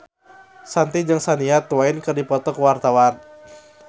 Shanti jeung Shania Twain keur dipoto ku wartawan